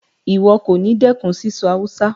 Ìwo kòní dẹ́kun síso Hausa